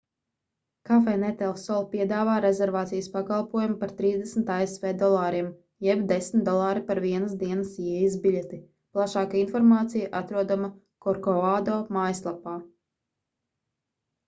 cafenet el sol piedāvā rezervācijas pakalpojumu par 30 asv dolāriem jeb 10 dolāri par vienas dienas ieejas biļeti plašāka informācija atrodama korkovado mājaslapā